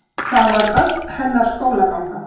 Það var öll hennar skólaganga.